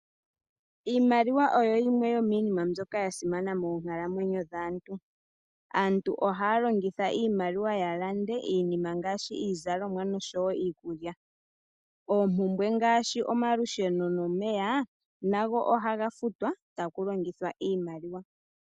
Iimaliwa oyo yimwe yomiinima mbyoka ya simana moonkalamwenyo dhaantu. Aantu ohaya longitha iimaliwa ya lande iinima ngaashi iizalomwa noshowo iikulya. Oompumbwe ngaashi omalusheno nomeya nago ohaga futwa taku longithwa iimaliwa.